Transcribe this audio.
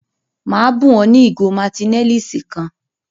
Maa bun o ni igo Martineliss kan.